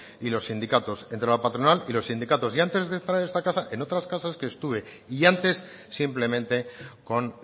y los sindicatos entre la patronal y los sindicatos y antes de entrar en esta casa en otras casas que estuve y antes simplemente con